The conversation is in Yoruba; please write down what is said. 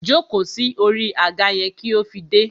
Jóko sí orí àga yẹn kí ó fi dé!